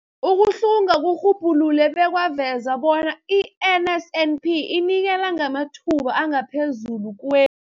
Ukuhlunga kurhubhulule bekwaveza bona i-NSNP inikela ngamathuba angaphezulu kwe-